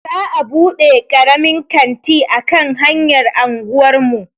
Za'a buɗe karamin kanti a kan hanyar anguwar mu.